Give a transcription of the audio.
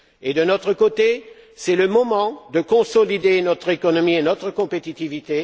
De notre côté, c'est le moment de consolider notre économie et notre compétitivité.